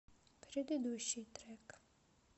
предыдущий трек